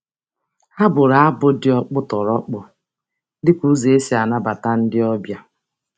Ha bụrụ abụ dị ọkpụtọrọkpụ dị ka ụzọ e si anabata ndị ọbịa.